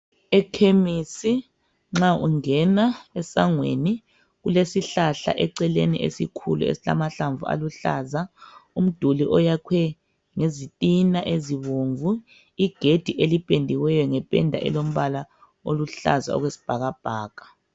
Ekhemisi nxa ungena esangweni kulesihlahla eceleni ,esikhulu esilamahlamvu aluhlaza. Umduli oyakhwe ngezitina ezibomvu, igedi eliphendiweyo ngephenda elombala oluhlaza okwesibhakabhaka.